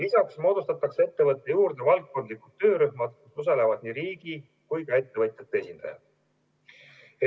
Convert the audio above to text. Lisaks moodustatakse ettevõtte juurde valdkondlikud töörühmad, kus osalevad nii riigi kui ka ettevõtjate esindajad.